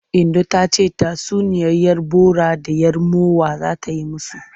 Inno ta ce tatsuniyar 'yar bora da 'yar mowa za ta yi musu.